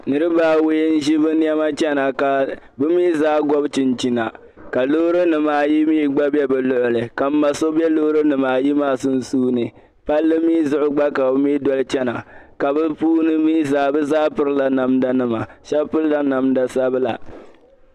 Niriba awɔi ʒi bɛ nema chana ka bɛ mi zaa gɔb chinchina ka loorinima ayi gba bɛ bi lɔɣili ka ma so bɛ loorinima ayi maa sunsuuni palli mi zuɣu gba ka be mi doli chana ka be puuni mi zaa bɛ pirila namdanima ka pirila namda sabila